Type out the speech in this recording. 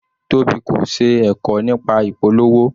Tobi kò ṣe ẹ̀kọ́ nípa ìpolówó.